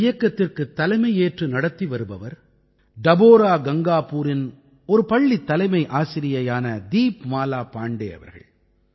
இந்த இயக்கத்திற்குத் தலைமையேற்று நடத்தி வருபவர் டபோரா கங்காபூரின் ஒரு பள்ளித் தலைமை ஆசிரியையான தீப்மாலா பாண்டே அவர்கள்